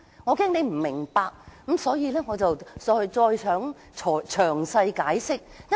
我怕你不明白，所以詳細解釋。